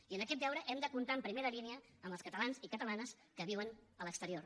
i en aquest deure hem de comptar en primera línia amb els catalans i catalanes que viuen a l’exterior